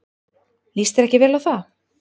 Líst þér ekki vel á það?